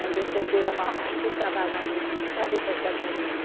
Mandei o tropeiro amarrar e botar a bagagem em cima e trazer para a estrada do Oriente.